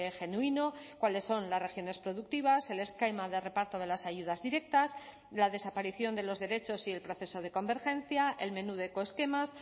genuino cuáles son las regiones productivas el esquema de reparto de las ayudas directas la desaparición de los derechos y el proceso de convergencia el menú de ecoesquemas